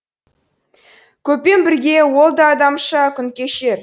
көппен бірге ол да адамша күн кешер